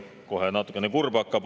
Kohe natukene kurb hakkab.